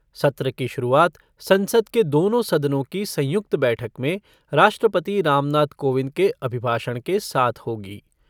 सत्र की शुरुआत संसद के दोनों सदनों की संयुक्त बैठक में राष्ट्रपति रामनाथ कोविंद के अभिभाषण के साथ होगी।